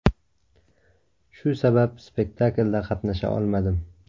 Shu sabab, spektaklda qatnasha olmadim.